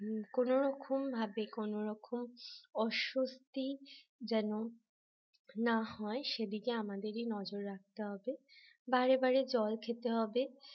কোনরকম ভাবে কোনরকম অস্বস্তি যেন না হয় সেদিকে আমাদেরই নজর রাখতে হবে বারে বারে জল খেতে হবে